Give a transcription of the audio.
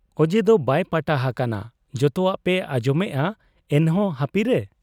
ᱚᱡᱮᱫᱚ ᱵᱟᱭ ᱯᱟᱴᱟ ᱦᱟᱠᱟᱱᱟ ᱾ ᱡᱚᱛᱚᱣᱟᱜ ᱯᱮ ᱟᱸᱡᱚᱢᱮᱜ ᱟ ᱮᱱᱦᱚᱸ ᱦᱟᱹᱯᱤᱨᱮ ?